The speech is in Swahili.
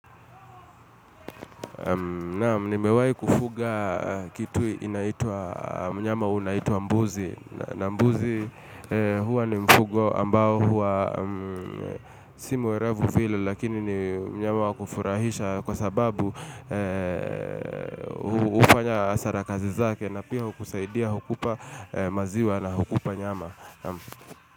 Naam mnimewai kufuga kitu inaituwa mnyama unaituwa mbuzi, na mbuzi huwa ni mfugo ambao huwa si muerevu vile lakini ni mnyama wa kufurahisha kwa sababu ufanya asara kazi zake na piha ukusaidia hukupa maziwa na hukupa nyama.